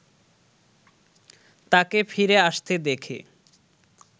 তাকে ফিরে আসতে দেখে